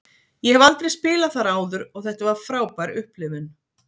Ég hef aldrei spilað þar áður og þetta var frábær upplifun.